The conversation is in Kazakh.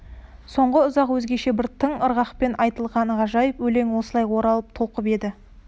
соңғы ұзақ өзгеше бір тың ырғақпен айтылған ғажайып өлең осылай оралып толқып еді